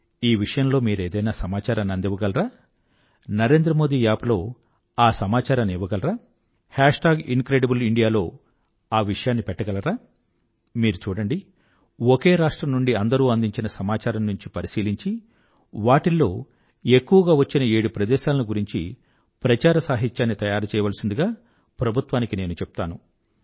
ఈ విషయంలో మీరేదైనా సమాచారాన్ని అందించగలరా NarendraModiApp లో ఆ సమాచారాన్ని ఇవ్వగలరా ఇంక్రిడిబ్లెయిండియా లో పెట్టగలరా మీరు చూడండి ఒకే రాష్ట్రం నుండి అందరూ అందించిన సమాచారం నుండి పరిశీలించి వాటిల్లో ఎక్కువగా వచ్చిన ఏడు ప్రదేశాలను గురించి ప్రచార సాహిత్యాన్ని తయారుచెయ్యవలసిందిగా ప్రభుత్వానికి నేను చెప్తాను